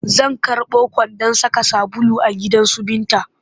Zan karɓo kwandon saka sabulu a gidansu Binta